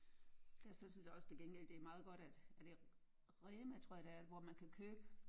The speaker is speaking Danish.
Ja jeg synes sådan set også til gengæld det er meget godt at er det Rema tror jeg det er hvor man kan købe